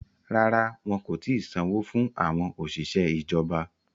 Rárá, wọn kò ti sanwó fún àwọn òṣìṣẹ́ ìjọba